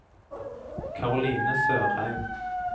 Caroline Sørheim